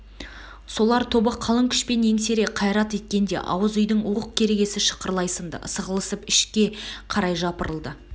солар тобы қалың күшпен еңсере қайрат еткенде ауыз үйдің уық-керегесі шықырлай сынды сығылысып ішіке қарай жапырылды